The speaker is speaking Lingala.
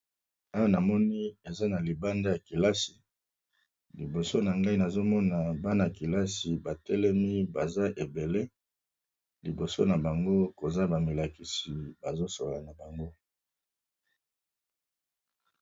Awa moni eza na libanda ya kilasi liboso na ngai nazomona bana kelasi batelemi baza ebele liboso na bango koza bamilakisi bazosola na bango.